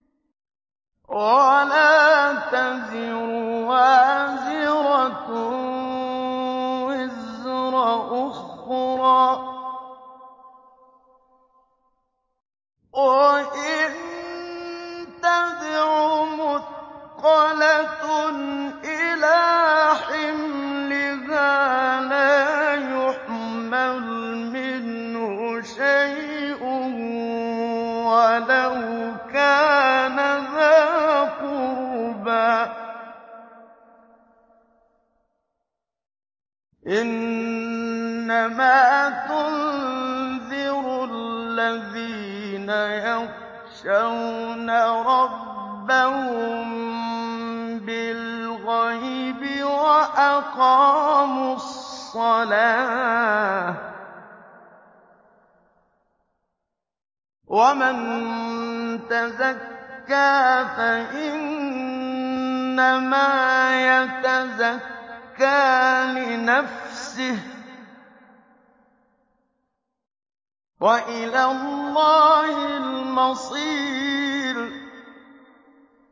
وَلَا تَزِرُ وَازِرَةٌ وِزْرَ أُخْرَىٰ ۚ وَإِن تَدْعُ مُثْقَلَةٌ إِلَىٰ حِمْلِهَا لَا يُحْمَلْ مِنْهُ شَيْءٌ وَلَوْ كَانَ ذَا قُرْبَىٰ ۗ إِنَّمَا تُنذِرُ الَّذِينَ يَخْشَوْنَ رَبَّهُم بِالْغَيْبِ وَأَقَامُوا الصَّلَاةَ ۚ وَمَن تَزَكَّىٰ فَإِنَّمَا يَتَزَكَّىٰ لِنَفْسِهِ ۚ وَإِلَى اللَّهِ الْمَصِيرُ